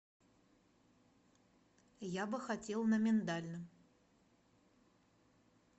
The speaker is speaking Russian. я бы хотел на миндальном